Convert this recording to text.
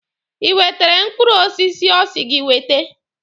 Ị wetere mkpụrụ osisi ọ sị gị wete?